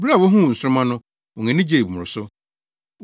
Bere a wohuu nsoromma no, wɔn ani gyee mmoroso.